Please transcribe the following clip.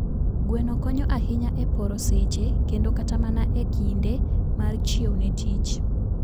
Gweno konyo ahinya e poro seche kendo kata mana e kinde mar chiew ne tich